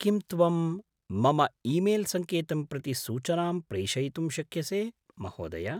किं त्वं मम ईमेल्सङ्केतं प्रति सूचनां प्रेषयितुं शक्यसे, महोदय?